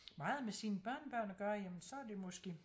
Meget med sine børnebørn at gøre jamen så er det måske